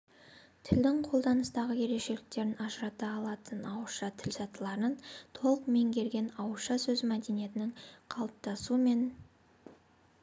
тілдің қолданыстағы ерекшеліктерін ажырата алатын ауызша тіл сатыларын толық меңгерген ауызша сөз мәдениетінің қалыптасу мен